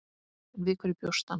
En við hverju bjóst hann?